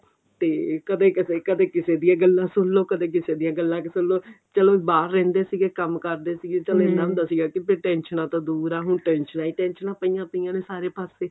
ਤੇ ਕਦੇ ਕਿਸੇ ਕਦੇ ਕਿਸੇ ਦੀਆਂ ਗੱਲਾਂ ਸੁਣ ਲਓ ਕਦੇ ਕਿਸੇ ਦੀਆਂ ਗੱਲਾਂ ਸੁਣ ਲਓ ਚਲੋ ਬਾਹਰ ਰਹਿੰਦੇ ਸੀਗੇ ਕੰਮ ਕਰਦੇ ਸੀਗੇ ਚਲੋ ਇੰਨਾ ਹੁੰਦਾ ਸੀਗਾ ਕਿ ਟੈੰਸ਼ਨਾਂ ਤੋਂ ਦੁਰ ਆਂ ਹੁਣ ਟੈੰਸ਼ਨਾਂ ਹੀ ਟੈੰਸ਼ਨਾਂ ਪਾਈਆਂ ਪਈਆਂ ਨੇ ਸਾਰੇ ਪਾਸੇ